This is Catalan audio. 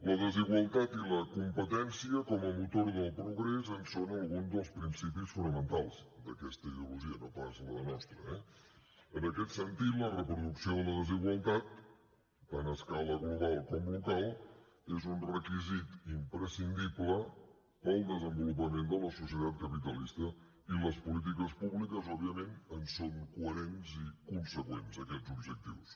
la desigualtat i la competència com a motor del progrés en són alguns dels principis fonamentals d’aquesta ideologia no pas de la nostra eh en aquest sentit la reproducció de la desigualtat tant a escala global com local és un requisit imprescindible per al desenvolupament de la societat capitalista i les polítiques públiques òbviament són coherents i conseqüents amb aquests objectius